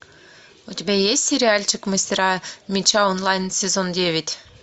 у тебя есть сериальчик мастера меча онлайн сезон девять